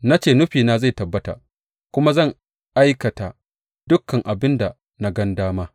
Na ce nufina zai tabbata, kuma zan aikata dukan abin da na gan dama.